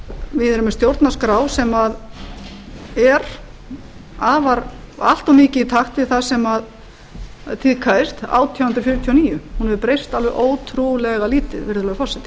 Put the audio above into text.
við erum með stjórnarskrá sem er allt of mikið í takt við það sem tíðkaðist átján hundruð fjörutíu og níu hún hefur breyst alveg ótrúlega lítið virðulegi forseti